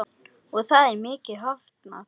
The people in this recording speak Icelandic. Og það er miklu hafnað.